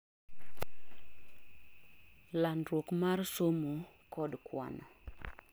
landruok mar somo kod kwano